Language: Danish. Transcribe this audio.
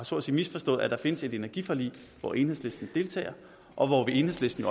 så at sige misforstået at der findes et energiforlig hvor enhedslisten deltager og hvor enhedslisten